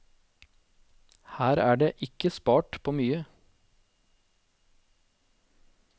Her er det ikke spart på mye.